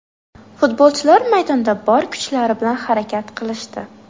Futbolchilar maydonda bor kuchlari bilan harakat qilishdi.